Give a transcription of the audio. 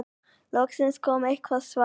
Loksins kom eitthvert svar.